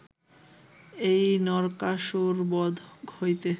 এই নরকাসুরবধ হইতে